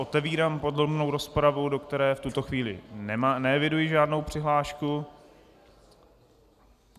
Otevírám podrobnou rozpravu, do které v tuto chvíli neevidují žádnou přihlášku.